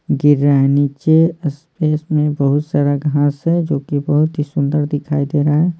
गिर रहा है नीचे स्पेस में बहुत सारा घास है जो कि बहुत ही सुंदर दिखाई दे रहा है।